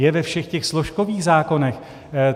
Je ve všech těch složkových zákonech.